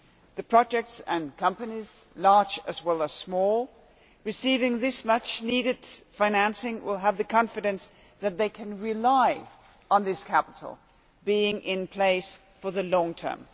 The projects and companies, large and small, receiving this much-needed financing will have the confidence that they can rely on this capital being in place for the long term.